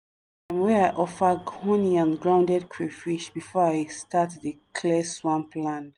wey i offer honey and grounded crayfish before i start dey clear swamp land.